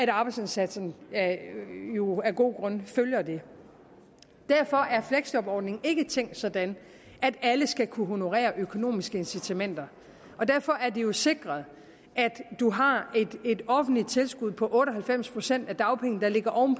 arbejdsindsatsen jo af gode grunde følger det derfor er fleksjobordningen ikke tænkt sådan at alle skal kunne honorere økonomiske incitamenter og derfor er det jo sikret at man har et offentligt tilskud på otte og halvfems procent af dagpengene der ligger oven